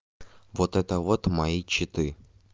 вот это вот мои читы